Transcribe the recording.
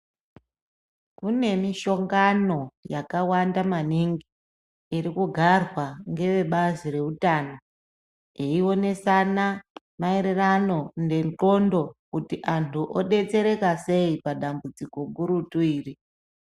Kune mishongano yakawanda maningi irikugarwa ngevebazi rehutano. Eionesana maererano nendxondo kuti antu obetsereka sei padambudziko gurutu iri.